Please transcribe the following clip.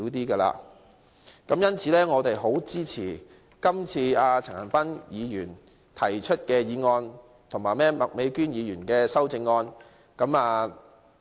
所以，我們十分支持陳恒鑌議員提出的議案及麥美娟議員的修正案。